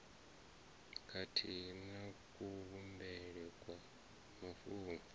khathihi na kuvhumbelwe kwa mafhungo